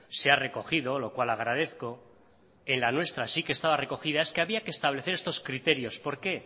se ha recogido lo cual agradezco en la nuestra sí que estaba recogida es que había que establecer estos criterios por qué